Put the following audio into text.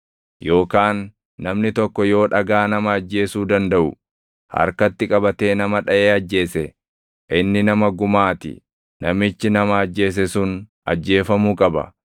Yookaan namni tokko yoo dhagaa nama ajjeesuu dandaʼu harkatti qabatee nama dhaʼee ajjeese, inni nama gumaa ti; namichi nama ajjeese sun ajjeefamuu qaba.